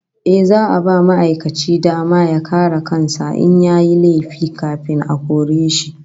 Yes, za'a ba ma'aikaci dama ya kare kan sa in yayi laifi kafin a kore shi